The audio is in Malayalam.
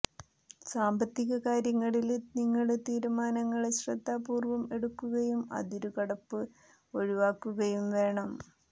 സാമ്പത്തിക കാര്യങ്ങളില് നിങ്ങള് തീരുമാനങ്ങള് ശ്രദ്ധാപൂര്വ്വം എടുക്കുകയും അതിരുകടപ്പ് ഒഴിവാക്കുകയും വേണം